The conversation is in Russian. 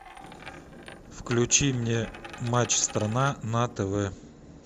включи мне матч страна на тв